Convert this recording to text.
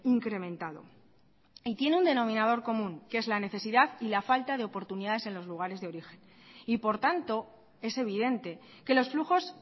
incrementado y tienen un denominador común que es la necesidad y la falta de oportunidades en los lugares de origen y por tanto es evidente que los flujos